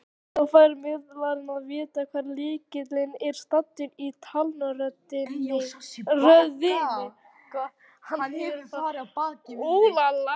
Svo fær miðlarinn að vita hvar lykillinn er staddur í talnaröðinni.